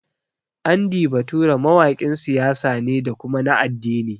Andy Bature mawaƙin siyasa ne da kuma na addini